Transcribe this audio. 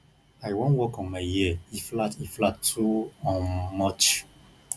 i wan work on my ear e flat e flat too um much